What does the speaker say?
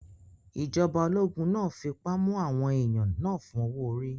Ìjọba ológun náà fipá mú àwọn èèyàn náà fún owó-orí